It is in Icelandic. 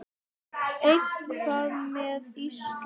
En hvað með Ísland?